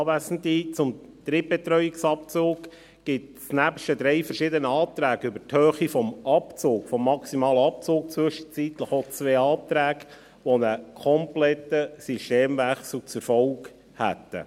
Zum Drittbetreuungsabzug gibt es nebst den drei verschiedenen Anträgen zur Höhe des maximalen Abzugs zwischenzeitlich auch zwei Anträge, die einen kompletten Systemwechsel zur Folge hätten.